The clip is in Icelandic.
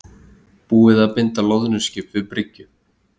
Búið að binda loðnuskip við bryggju